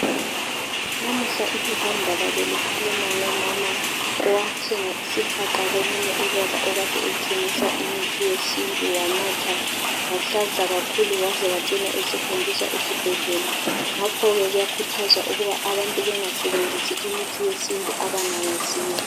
Namuhla iphephandaba belikhuluma ngomama owathenga isihaqa komunye ubaba okade ethengisa imithi yesintu wanatha wahlanza kakhulu waze wacina esehanjiswa esibhedlela ngakho ke kuyakhuthazwa ukuba abantu bengasebenzisi imithi yesintu abangayaziyo.